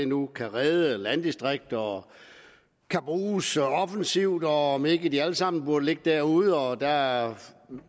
nu kan redde landdistrikter og kan bruges offensivt og om ikke de alle sammen burde ligge derude og der er